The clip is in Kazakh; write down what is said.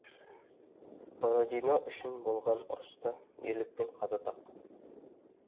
бородино үшін болған ұрыста ерлікпен қаза тапқан